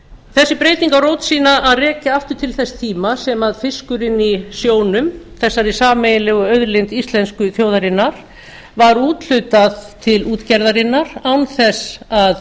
þessi breyting á rót sína að rekja aftur til þess tíma sem fiskurinn í sjónum þessari sameiginlegu auðlind íslensku þjóðarinnar var úthlutað til útgerðarinnar án þess að